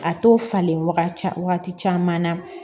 A t'o falen wagati caman na